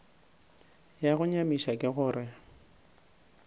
ya go nyamiša ke gore